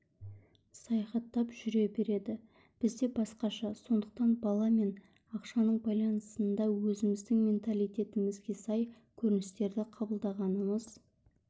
саяхаттап жүре береді бізде басқаша сондықтан бала мен ақшаның байланысында өзіміздің менталитетімізге сай көріністерді қабылдағанымыз